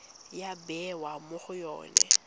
ya bewa mo go yone